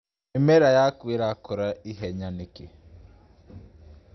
Mĩmera yaku irakũra ihenya nĩkĩ.